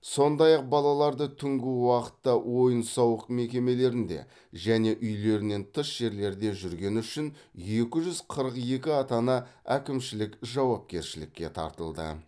сондай ақ балалары түнгі уақытта ойын сауық мекемелерінде және үйлерінен тыс жерлерде жүргені үшін екі жүз өқырық екі ата ана әкімшілік жауапкершілікке тартылды